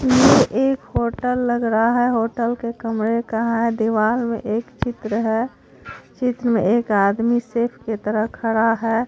ये एक होटल लग रहा है होटल के कमरे का है दीवाल में एक चित्र है चित्र में एक आदमी सेफ के तरह खड़ा है।